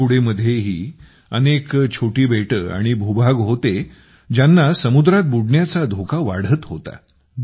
तुतूकुडीमध्येही अनेक छोटी बेटे आणि भूभाग होते ज्यांना समुद्रात बुडण्याचा धोका वाढत होता